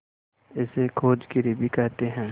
इसे खोजागिरी भी कहते हैं